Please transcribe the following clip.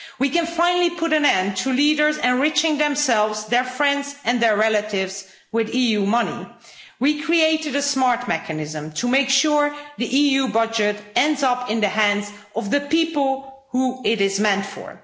We can finally put an end to leaders enriching themselves, their friends and their relatives with EU money. We created a smart mechanism to make sure the EU budget ends up in the hands of the people who it is meant for.